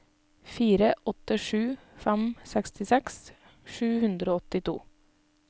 fire åtte sju fem sekstiseks sju hundre og åttito